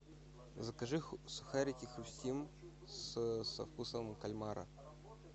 закажи сухарики хрустим со вкусом кальмара